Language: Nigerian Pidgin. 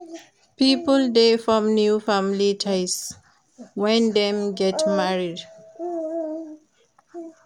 Pipo de form new family ties when dem get married